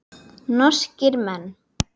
Norskir menn.